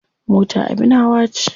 Mota abin hawa ce.